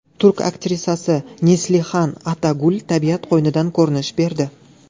Turk aktrisasi Neslihan Atagul tabiat qo‘ynidan ko‘rinish berdi.